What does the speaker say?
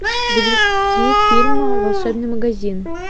загрузи фильм волшебный магазин